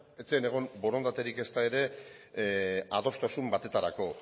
ez zen egon borondaterik ezta ere adostasun batetarako